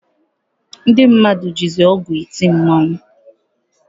Ndị mmadụ jizi ọgwụ eti mmọnwụ.